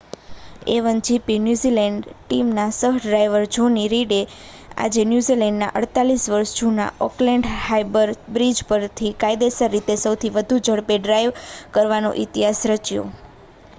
a1gp New Zealand ટીમના સહ-ડ્રાઇવર Johnny રીડે આજે ન્યૂઝીલૅન્ડના 48 વર્ષ જૂના ઑકલૅન્ડ હાર્બર બ્રિજ પરથી કાયદેસર રીતે સૌથી વધુ ઝડપે ડ્રાઇવ કરવાનો ઇતિહાસ રચ્યો